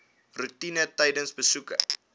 roetine tydens besoeke